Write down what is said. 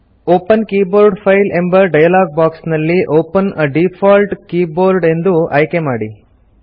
open keyboard file ಎಂಬ dialog box ನಲ್ಲಿ open a default keyboard ಎಂದು ಆಯ್ಕೆ ಮಾಡಿ